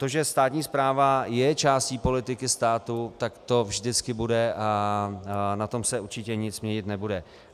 To, že státní správa je částí politiky státu, tak to vždycky bude a na tom se určitě nic měnit nebude.